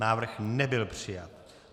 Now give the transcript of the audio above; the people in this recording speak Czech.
Návrh nebyl přijat.